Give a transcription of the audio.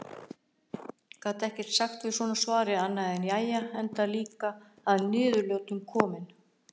Gat ekkert sagt við svona svari annað en jæja enda líka að niðurlotum kominn.